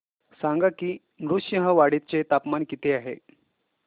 सांगा की नृसिंहवाडी चे तापमान किती आहे